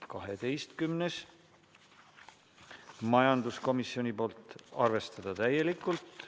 12. ettepanek, majanduskomisjonilt, seisukoht: arvestada täielikult.